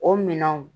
O minɛnw